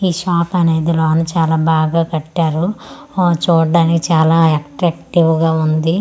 ఈ షాప్ అనేది లోన చాలా బాగా కట్టారు ఊ చూడ్డానికి చాలా అతరాక్టివ్ గా ఉంది కస్టమర్స్ .